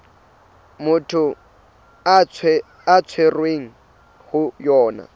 motho a tshwerweng ho yona